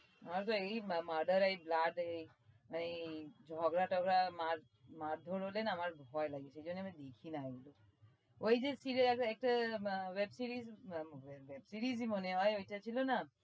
আমার তো এই murder এই blood এই মানে এই ঝগড়া টগড়া মারধোর হলে না আমার ভয় লাগে সেই জন্যে আমি দেখি না এইগুলো। ওই যে series আছে এক্সে উম web series